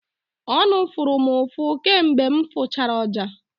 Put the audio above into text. Ọnụ fụrụ m ụfụ kamgbe m fụchara ọja.